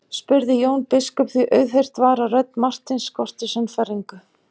spurði Jón biskup því auðheyrt var að rödd Marteins skorti sannfæringu.